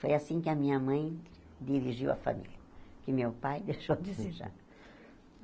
Foi assim que a minha mãe dirigiu a família, que meu pai deixou a desejar.